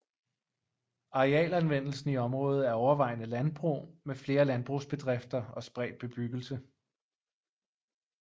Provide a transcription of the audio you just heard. Arealanvendelsen i området er overvejende landbrug med flere landbrugsbedrifter og spredt bebyggelse